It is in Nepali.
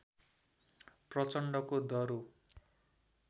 प्रचण्डको दह्रो